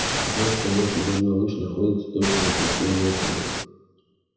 ты знаешь что наш земной луч находится точно на пути её центра